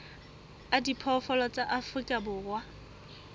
a diphoofolo tsa afrika borwa